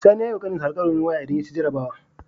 Sani yayi wa ƙanin shi al'kawarin waya idan yaci jarabawa